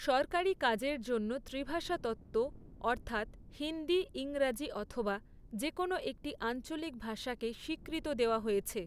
সরকারি কাজের জন্য ত্ৰিভাষা তত্ত্ব, অর্থাৎ হিন্দি, ইংরাজী অথবা যেকোনো একটি আঞ্চলিক ভাষাকে স্বীকৃত দেওয়া হয়েছে।